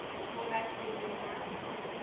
ku nga si va ni